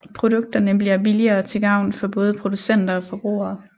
Produkterne bliver billigere til gavn for både producenter og forbrugere